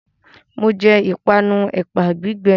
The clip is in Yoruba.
Mo jẹ ìpanu ẹ̀pà gbígbẹ